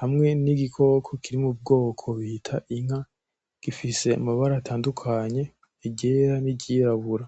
hamwe n’igikoko kiri mu bwoko bita inka gifise amabara atandukanye iryera niryirabura